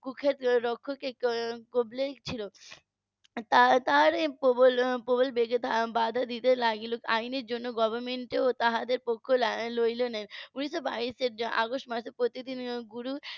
. তারা~ তারা প্রবল বেগে বাধা দিতে লাগলো আইনের জন্য government এর তাদের পক্ষ নিলো না উনিশ বাইশ এর অগাস্ট মাসে প্রতিদিনের গুরু